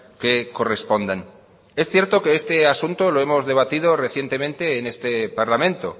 que correspondan es cierto que este asunto lo hemos debatido recientemente en este parlamento